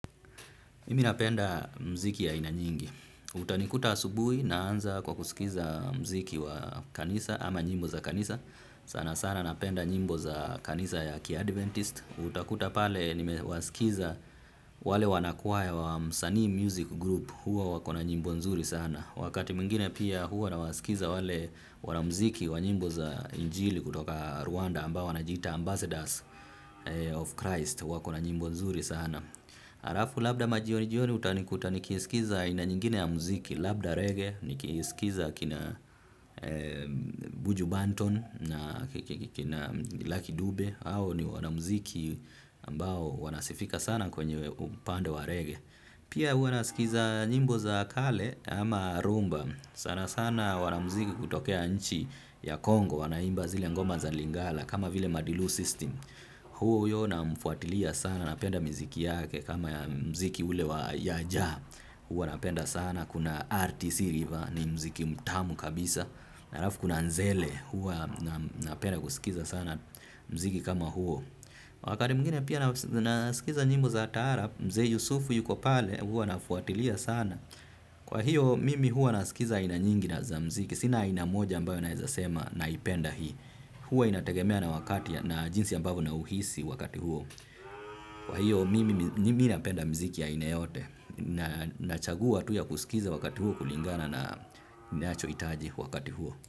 Mimi napenda muziki ya aina nyingi. Utanikuta asubuhi naanza kwa kusikiliza muziki wa kanisa ama nyimbo za kanisa. Sana sana napenda nyimbo za kanisa ya kiadventist. Utakuta pale nimewasikiza wale wanakwaya wa msanii music group huwa wako na nyimbo nzuri sana. Wakati mwingine pia huwa na wasikiliza wale wanamuziki wa nyimbo za injili kutoka Rwanda ambao wanajiita ambassadors of Christ wako na nyimbo nzuri sana. Arafu labda majioni jioni utanikuta nikisikiliza ina nyingine ya muziki. Labda reggae nikisikiza kina Buju Banton na laki dube hao ni wanamuziki ambao wanasifika sana kwenye upande wa reggae. Pia huwa nasikiliza nyimbo za kale ama rumba. Sana sana wana mziki kutokea nchi ya Kongo wanaimba zile ngoma za lingala. Kama vile Madilu System huyo namfuatilia sana napenda miziki yake kama mziki ule wa ya jaa huwa napenda sana kuna RTC river ni mziki mtamu kabisa alafu kuna nzele huo napenda kusikiza sana mziki kama huo wakati mwingine pia nasikiliza nyimbo za taarab mzee yusufu yuko pale huw nafuatilia sana kwa hiyo mimi huwa nasikiliza aina nyingi na za muziki sina aina moja mbayo naweza sema naipenda. Hii huwa inategemea na wakati na jinsi ambavyo nauhisi wakati huo. Kwa hiyo, mimi napenda muziki ya ina yote. Nachagua tu ya kusikiliza wakati huo, kulingana na nachohitaji wakati huo.